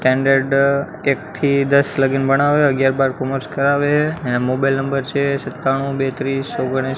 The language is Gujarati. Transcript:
સ્ટાનડર્ડ એક થી દસ લગીન ભણાવે અગિયાર બાર કૉમર્સ કરાવે એના મોબાઈલ નંબર છે સત્તાણું બે ત્રીસ ઓગણીસ્--